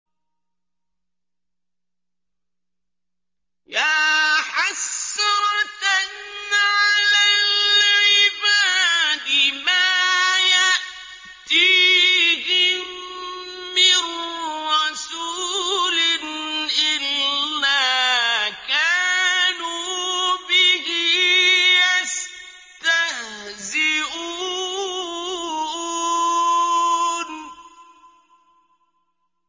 يَا حَسْرَةً عَلَى الْعِبَادِ ۚ مَا يَأْتِيهِم مِّن رَّسُولٍ إِلَّا كَانُوا بِهِ يَسْتَهْزِئُونَ